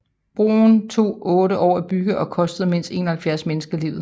Broen tog otte år at bygge og kostede mindst 71 mennesker livet